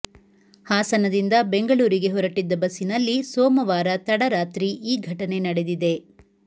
ಹಾಸನದಿಂದ ಬೆಂಗಳೂರಿಗೆ ಹೊರಟ್ಟಿದ್ದ ಬಸ್ಸಿನಲ್ಲಿ ಸೋಮವಾರ ತಡರಾತ್ರಿ ಈ ಘಟನೆ ನಡೆದಿದೆ